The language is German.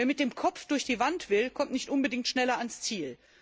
Wer mit dem Kopf durch die Wand will, kommt nicht unbedingt schneller ans Ziel.